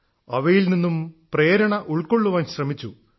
അവയിൽ നിന്നും പ്രേരണ ഉൾക്കൊള്ളാൻ ശ്രമിച്ചു